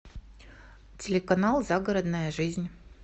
телеканал загородная жизнь